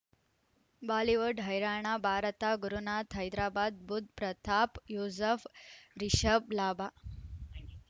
Bollywood ಹೈರಾಣ ಭಾರತ ಗುರುನಾತ್ ಹೈದರಾಬಾದ್ ಬುಧ್ ಪ್ರತಾಪ್ ಯೂಸುಫ್ ರಿಷಬ್ ಲಾಭ